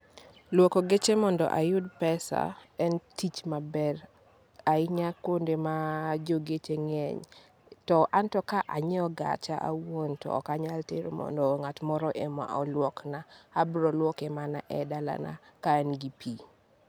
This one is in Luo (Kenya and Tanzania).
Luoko geche mondo ayud pesa en tich maber ahinya kuonde ma jogeche ng'eny. To anto ka anyiew gacha awuon to ok anyal tero mondo ng'at moro ema oluokna, abro luoke mana e dalana ka an gi pi